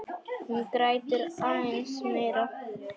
Hún grætur aðeins meira.